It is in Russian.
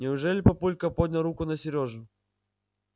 неужели папулька поднял руку на сережу